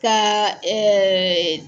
Kaa